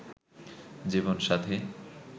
জীবন সাথী